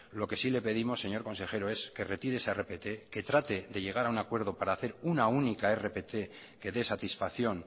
lo que sí le pedimos señor consejero es que retire esa rpt que trate de llegar a un acuerdo para hacer una única rpt que dé satisfacción